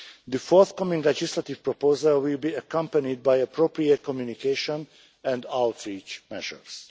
The forthcoming legislative proposal will be accompanied by appropriate communication and outreach measures.